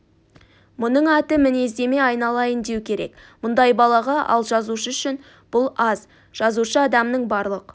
мұның аты мінездеме айналайын деу керек мұндай балаға ал жазушы үшін бұл аз жазушы адамның барлық